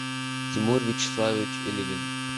тимур вячеславович элигин